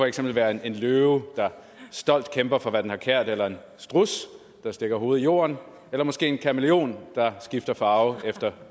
eksempel være en løve der stolt kæmper for hvad den har kært eller en struds der stikker hovedet i jorden eller måske en kamæleon der skifter farve efter